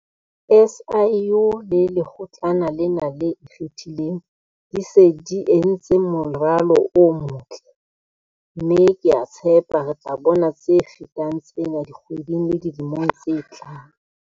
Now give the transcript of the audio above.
SIU le Lekgotlana lena le Ikgethileng di se di entse moralo o motle, mme ke a tshepa re tla bona tse fetang tsena dikgweding le dilemong tse tlang.